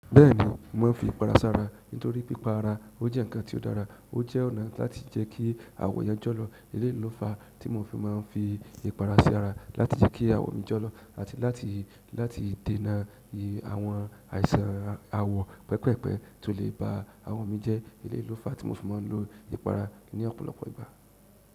Bẹ́ẹ̀ni mo máa ń fi ìpara sára, nítorí pí pa ara o jẹ́ nǹkan tí ó dára, o jẹ́ ọ̀nà láti jẹ kí àwọ̀ èèyàn jọ̀ lọ̀. Eléyìí lo fa tí mò fi má ń fi ìpara sí ara láti jẹ́ kí àwọ̀ mí jọ́lọ̀ àti láti, láti dènà àwọn àìsàn àwọ̀ pẹpẹ́pẹ́ tó lè ba àwọ̀ mí jẹ́. Eléyìí lo fa tí mò fi má ń lo ìpara ní ọ̀pọ̀lọpọ̀ ìgbà.